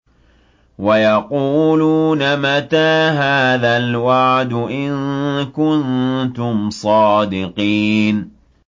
وَيَقُولُونَ مَتَىٰ هَٰذَا الْوَعْدُ إِن كُنتُمْ صَادِقِينَ